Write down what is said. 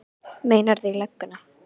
Meinarðu. í lögguna?